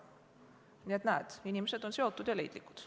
Nii et näed, inimesed on seotud ja leidlikud.